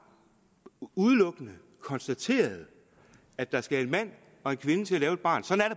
udelukkende konstateret at der skal en mand og en kvinde til at lave et barn sådan